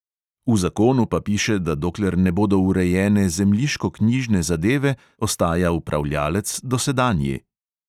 V zakonu pa piše, da dokler ne bodo urejene zemljiškoknjižne zadeve, ostaja upravljalec dosedanji.